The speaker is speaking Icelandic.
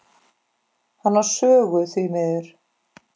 Hann á sögu, því miður.